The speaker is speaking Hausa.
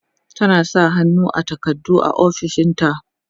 tana sa hannu a takardu a ofishinta